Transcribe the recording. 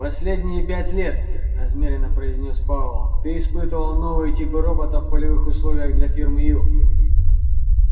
последние пять лет размеренно произнёс пауэлл ты испытывал новые типы роботов в полевых условиях для фирмы ю